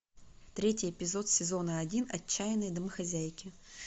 третий эпизод сезона один отчаянные домохозяйки